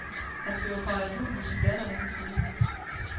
Han skal jo fejre jul hos sin datter og hendes familie.